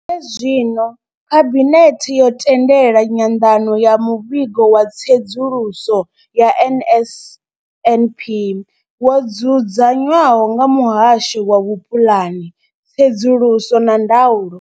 zwino, Khabinethe yo tendela nyanḓadzo ya Muvhigo wa Tsedzuluso ya NSNP wo dzudzanywaho nga Muhasho wa Vhupulani, Tsedzuluso na Ndaulo.